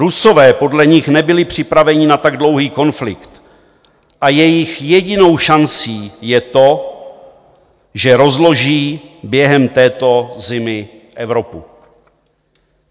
Rusové podle nich nebyli připraveni na tak dlouhý konflikt a jejich jedinou šancí je to, že rozloží během této zimy Evropu.